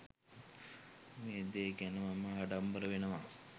මේ දේ ගැන මම ආඩම්බර වෙනවා.